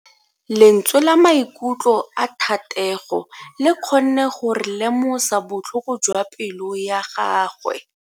Lentswe la maikutlo a Thatego le kgonne gore re lemosa botlhoko jwa pelo ya gagwe.